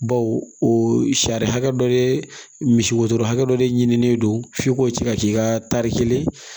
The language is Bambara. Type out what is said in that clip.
Bawo o sariya hakɛ dɔ de misi wotoro hakɛ dɔ de ɲininen don f'i k'o cɛ ka k'i ka tari kelen